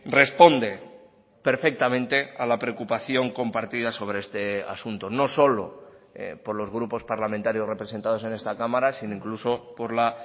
responde perfectamente a la preocupación compartida sobre este asunto no solo por los grupos parlamentarios representados en esta cámara sino incluso por la